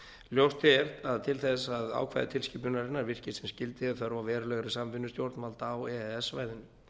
ljóst er að til þess að ákvæði tilskipunarinnar virki sem skyldi er þörf á verulegri samvinnu stjórnvalda á e e s svæðinu